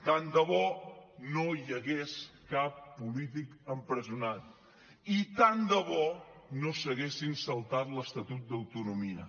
tant de bo no hi hagués cap polític empresonat i tant de bo no s’haguessin saltat l’estatut d’autonomia